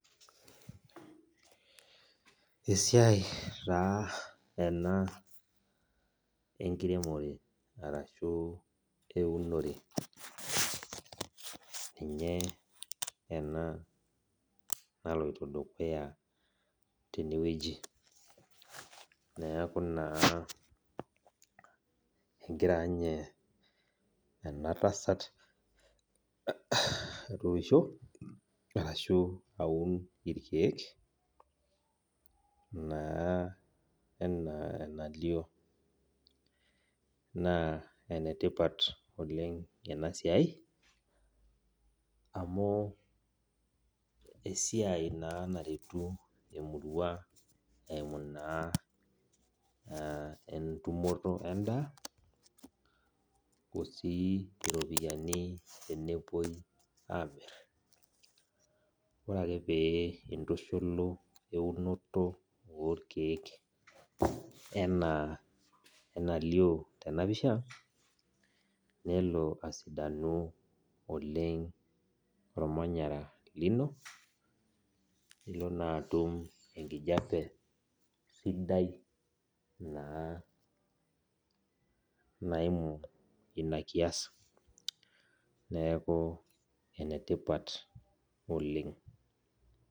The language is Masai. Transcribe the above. Esiai taa ena enkiremore ashu eunore ninye ena naloito dukuya tenewueji neaku naa egira ninye enatasat aitookisho ashu aun irkiek ana enalio na enetipat oleng inasiai amu esiai na naretu emurua eimu na entumoto endaa osii ropiyani tenebo amir ore pintushulu eunoto orkiek ana enalio tenapisha nelo asidani oleng ormanyara lino nilo naa atum enkijape sidai naimu inakias neaku enetipat oleng.